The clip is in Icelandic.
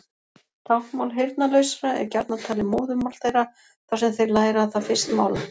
Táknmál heyrnarlausra er gjarnan talið móðurmál þeirra þar sem þeir læra það fyrst mála.